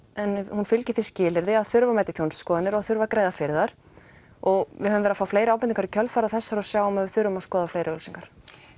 hún fylgi því skilyrði að það þurfi að mæta í þjónustuskoðanir og það þurfi að greiða fyrir þær og við höfum verið að fá fleiri ábendingar í kjölfarið á þessari og sjáum að við þurfum að skoða fleiri auglýsingar